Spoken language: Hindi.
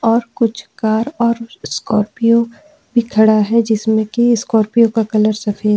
और कुछ कार और स्कार्पियो भी खड़ा है जिसमे की स्कार्पियो का कलर सफेद हैं।